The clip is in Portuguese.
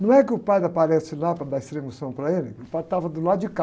Não é que o padre aparece lá para dar a unção para ele, o padre estava do lado de cá.